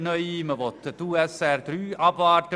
Man will die Unternehmenssteuerreform (USR) III abwarten.